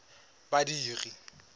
badiri